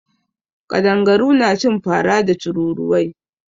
Ƙadangaru suna cin fara da tururuwai.